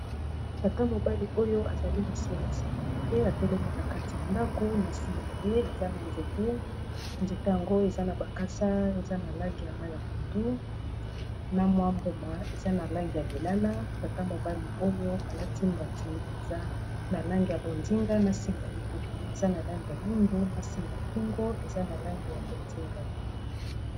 Tata mobali oyo azali mosali ya securite atelemi na kati ya ndako na nsima na ye eza na nzete, nzete yango eza na bakasa eza na langi ya mayi ya pondu na mwa mbuma eza na langi ya lilala tata mobali oyo alati mbati eza na langi ya bonzinga na singa libumu eza na langi ya mwindu na singa kingo eza na langi ya bonzinga.